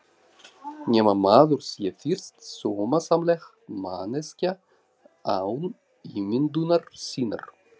Nema maður sé fyrst sómasamleg manneskja án ímyndunar sinnar.